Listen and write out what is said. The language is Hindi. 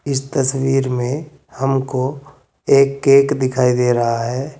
इस तस्वीर में हमको एक केक दिखाई दे रहा है।